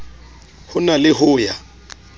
ho na le ho ya